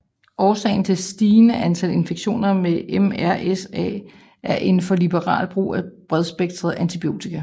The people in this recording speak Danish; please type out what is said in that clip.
Årsagen til det stigende antal infektioner med MRSA er en for liberal brug af bredspektrede antibiotika